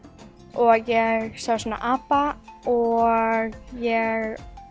og ég sá svona apa og ég